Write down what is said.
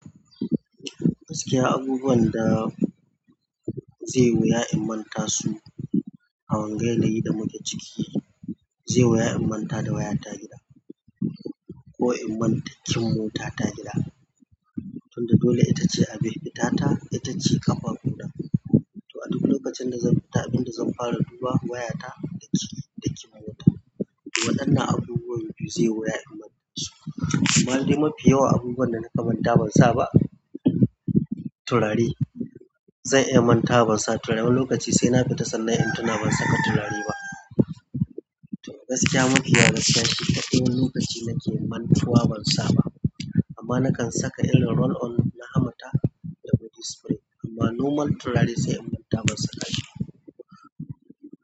Gaskiya abubuwan da zai yi wuya in manta su a wanga gari da muke ciki, zai waya manta da waya ta gida ko iman tacin mota ta gida tunda dole ita ce a binte ta ita ce ƙafafuɗan. To a duk lokacin da zan bi ta abin da zan fara duba waya ta da cikin mota. Waɗannan abubuwa ne du zai waya iman su. Malalmi mafi yawa abubuwan da na manta ban sa ba turare. Zan iya manta ban sa turare wani lokaci sai na fita sannan in tuna ban saka turare ba. To gaskiya mafi yawanci a duk wani lokaci nake mantuwa ban sa ba amma nakan saka illar roll on na hamata da body spray amma nomal turare sai in manta ban saka shi.